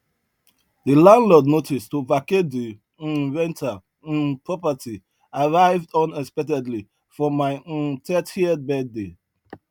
de landlord notice to vacate de um rental um property arrive unexpectedly for my um thirtieth birthday